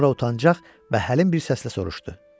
Sonra utancaq və həlim bir səslə soruşdu: